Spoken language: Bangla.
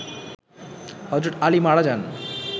হযরত আলী মারা যান